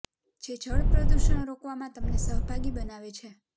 જે જળ પ્રદુષણ રોકવા માં તમને સહભાગી બનાવે છે